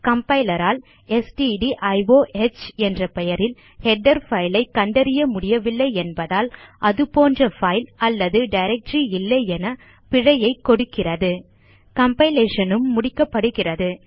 compiler ஆல் stdio என்ற பெயரில் ஹெடர் பைல் ஐ கண்டறிய முடியவில்லை என்பதால் அது போன்ற பைல் அல்லது டைரக்டரி இல்லையென பிழையைக் கொடுக்கிறது கம்பைலேஷன் உம் முடிக்கப்படுகிறது